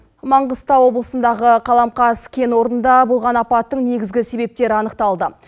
маңғыстау облысындағы қаламқас кен орнында болған апаттың негізгі себептері анықталды